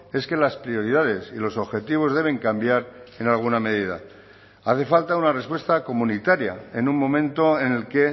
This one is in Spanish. es que las prioridades y los objetivos deben cambiar en alguna medida hace falta una respuesta comunitaria en un momento en el que